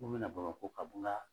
N ko mɛ na Bamako ka